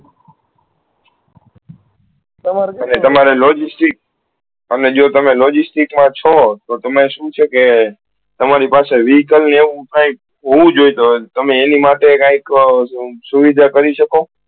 તમારે logistics અમે જુવો તમે logistics મા છો તો તમે શુ છે કે તમારી પાસે vehicle ને એવું કાયિક હોવું જોયીયે તો તમે એની માટે કાયિક સુવિધા કરી શકો